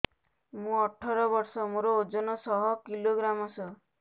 ମୁଁ ଅଠର ବର୍ଷ ମୋର ଓଜନ ଶହ କିଲୋଗ୍ରାମସ